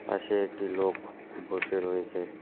পাশে একটি লোক বসে রয়েছে।